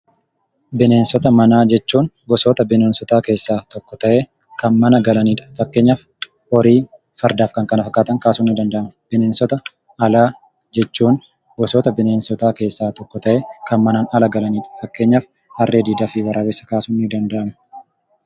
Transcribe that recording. Bineensota manaa jechuun gosoota bineensotaa keessaa tokko ta'ee kan mana galanidha. Fakkeenyaf horii, fardaaf kan kana fakkaatan kaasun ni danda'ama. Bineensota alaa jechuun gosoota bineensotaa keessaa tokko ta'ee kan manaan ala galanidha . Fakkeenyaaf harree diidaa fi waraabessa kaasuun ni danda'ama?